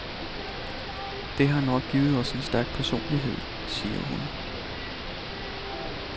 Det har nok givet os en stærk personlighed, siger hun.